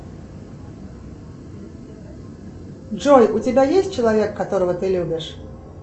джой у тебя есть человек которого ты любишь